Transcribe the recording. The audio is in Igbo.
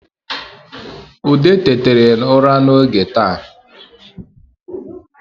Ude tetere ụra n’oge taa